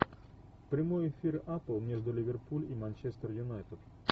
прямой эфир апл между ливерпуль и манчестер юнайтед